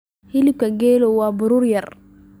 Hilibka geela waa baruur yar,